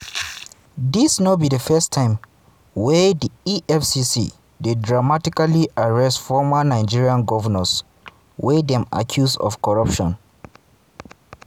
dis no be di first time wey di efcc dey dramatically arrest former nigerian govnors wey dem accuse of corruption.